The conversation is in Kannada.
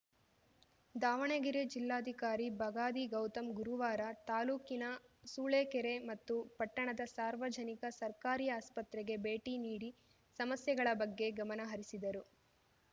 ದಾವಣಗೆರೆ ಜಿಲ್ಲಾಧಿಕಾರಿ ಬಗಾದಿ ಗೌತಮ್‌ ಗುರುವಾರ ತಾಲೂಕಿನ ಸೂಳೆಕೆರೆ ಮತ್ತು ಪಟ್ಟಣದ ಸಾರ್ವಜನಿಕ ಸರ್ಕಾರಿ ಆಸ್ಫತ್ರೆಗೆ ಭೇಟಿ ನೀಡಿ ಸಮಸ್ಯೆಗಳ ಬಗ್ಗೆ ಗಮನ ಹರಿಸಿದರು